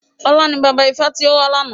Ọlá ni bàbá ifá tí ó wà lána.